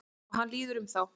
Og hann líður um þá.